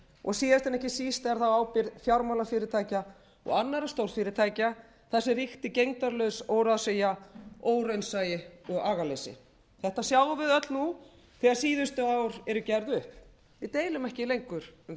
og síðast en ekki síst er það á ábyrgð fjármálafyrirtækja og annarra stórfyrirtækja þar sem ríkti gegndarlaus óráðsía óraunsæi og agaleysi þetta sjáum við öll nú þegar síðustu ár eru gerð upp við deilum ekki lengur um þetta en